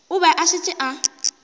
a be a šetše a